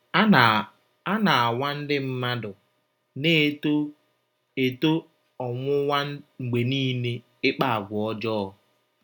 A na - A na - anwa Ndị mmadu na - eto eto ọnwụnwa mgbe niile ịkpa àgwà ọjọọ.